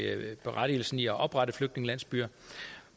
berettigelsen i at oprette flygtningelandsbyer